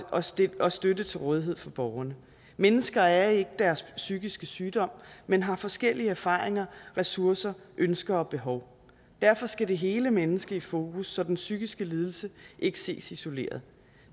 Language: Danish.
og støtte og støtte til rådighed for borgerne mennesker er ikke deres psykiske sygdom men har forskellige erfaringer ressourcer ønsker og behov derfor skal det hele menneske i fokus så den psykiske lidelse ikke ses isoleret